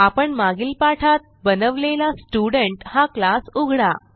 आपण मागील पाठात बनवलेला स्टुडेंट हा क्लास उघडा